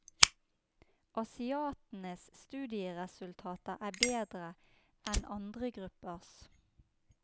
Asiatenes studieresultater er bedre enn andre gruppers.